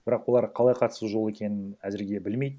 бірақ олар қалай қатысу жолы екенін әзірге білмейді